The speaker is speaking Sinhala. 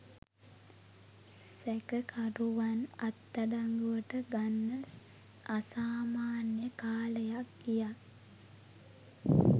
සැකකරුවන් අත්අඩංගුවට ගන්න අසාමාන්‍ය කාලයක් ගියා.